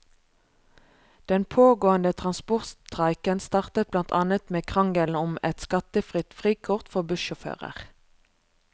Den pågående transportstreiken startet blant annet med krangelen om et skattefritt frikort for bussjåfører.